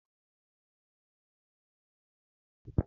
Ndị ọkàikpe na-eyi akwa ọcha na ojii